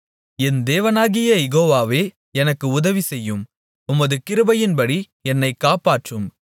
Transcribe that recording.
என் தேவனாகிய யெகோவாவே எனக்கு உதவிசெய்யும் உமது கிருபையின்படி என்னைக் காப்பாற்றும்